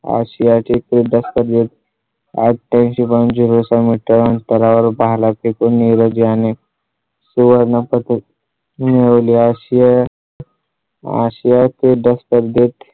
ASIA चे प्रदेशात जे आठ्यांशी point zero सहा मीटर अंतरावर भाला फेयून याने सुवर्ण पदक मिळवले ASIAASIA क्रीडा स्पर्धेत